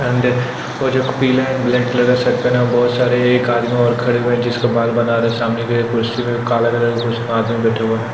अंडे वो जो पीला एंड ब्लैक कलर के शर्ट पहने बहुत सारे एक आदमी और खड़े हुये हैं जिसके बाल बना रहे सामने एक कुर्सी में काला कलर के कुर्सी में आदमी बैठा हुआ है।